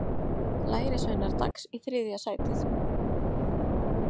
Lærisveinar Dags í þriðja sætið